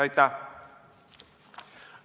Aitäh!